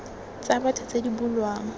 tsa batho tse di bulwang